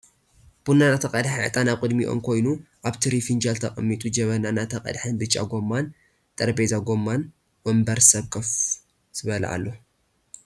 ቡና እናተቀድሐ ዕጣን ኣብ ቅድሚኦም ኮይኒ ኣብ ትሪ ፍንጃል ተቀሚጡ ጀበና እናተቀድሐን ቢጫ ጎማሙ ን ጠረቤዛን ጎማ ውንብርር ስብ ኮፍ ዝብለ ኣሎ።